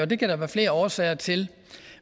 det kan der være flere årsager til